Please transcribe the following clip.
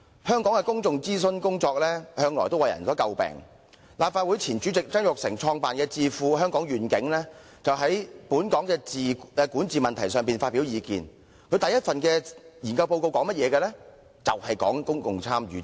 香港的公眾諮詢工作向來為人所詬病，由前任立法會主席曾鈺成創辦的智庫"香港願景"，專門就本港管治問題發表意見，其首份研究報告的內容正是公共參與及諮詢。